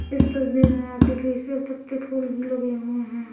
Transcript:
इस तस्वीर में आर्टिफिशियल पत्ते फूल भी लगे हुए हैं।